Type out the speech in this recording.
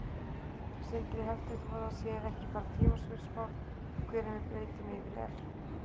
Sindri: Heldurðu að það sé ekki bara tímaspursmál hvenær við breytum yfir í evru?